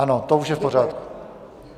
Ano, to už je v pořádku.